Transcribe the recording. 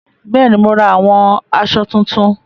Bẹ́ẹ̀ni, mo ra àwọn asọ tuntun